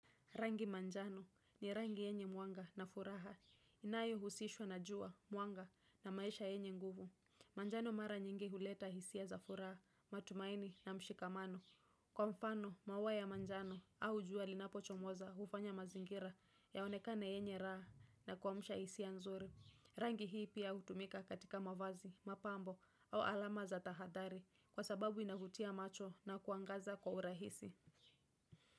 Rangi manjano ni rangi yenye mwanga na furaha. Inayohusishwa na jua, mwanga na maisha yenye nguvu. Manjano mara nyingi huleta hisia za furaha, matumaini na mshikamano. Kwa mfano, mauwa ya manjano au jua linapochomoza hufanya mazingira yaonekane yenye raha na kuamsha hisia nzuri. Rangi hii pia hutumika katika mavazi, mapambo au alama za tahathari kwa sababu inavutia macho na kuangaza kwa urahisi.